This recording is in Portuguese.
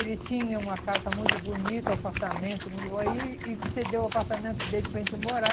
Ele tinha uma casa muito bonita, um apartamento muito bom, aí e ele cedeu o apartamento dele para a gente morar.